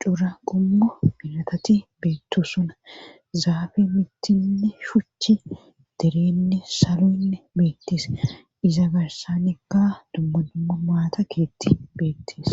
cora qommo biitati beettosona;zaafe mittinne shuchchi derenne saloynne beetes;iza garssanikka dumma dumma maata keetti beettes.